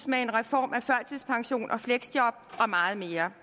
med en reform af førtidspension og fleksjob og meget mere